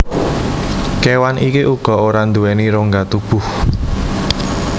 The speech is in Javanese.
Kewan iki uga ora nduweni rongga tubuh